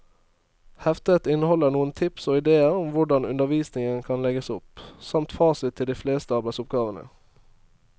Heftet inneholder noen tips og idéer til hvordan undervisningen kan legges opp, samt fasit til de fleste arbeidsoppgavene.